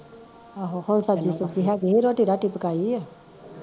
ਰੋਟੀ ਰੁਟੀ ਪਕਾਈ ਆ